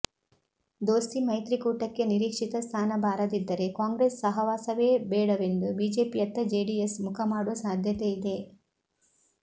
ದೋಸ್ತಿ ಮೈತ್ರಿಕೂಟಕ್ಕೆ ನಿರೀಕ್ಷಿತ ಸ್ಥಾನ ಬಾರದಿದ್ದರೆ ಕಾಂಗ್ರೆಸ್ ಸಹವಾಸವೇ ಬೇಡವೆಂದು ಬಿಜೆಪಿಯತ್ತ ಜೆಡಿಎಸ್ ಮುಖಮಾಡುವ ಸಾಧ್ಯತೆಯಿದೆ